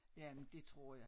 Ja men det tror jeg